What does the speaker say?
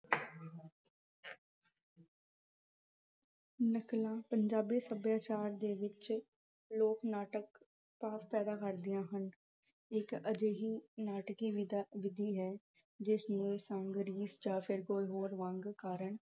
ਨਕਲਾਂ, ਪੰਜਾਬੀ ਸੱਭਿਆਚਾਰ ਦੇ ਵਿੱਚ ਲੋਕ ਨਾਟਕ ਭਾਵ ਪੈਦਾ ਕਰਦੀਆਂ ਹਨ। ਇੱਕ ਅਜਿਹੀ ਨਾਟਕੀ ਅਹ ਵਿਧੀ ਹੈ ਜਿਸਨੇ ਹੋਰ ਮੰਗ ਕਾਰਨ